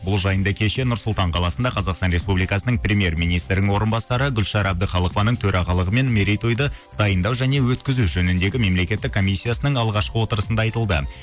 бұл жайында кеше нұр сұлтан қаласында қазақстан республикасының премьер министрінің орынбасары гүлшара әбдіқалықованың төрағалығымен мерейтойды дайындау және өткізу жөніндегі мемлекеттік комиссиясының алғашқы отырысында айтылды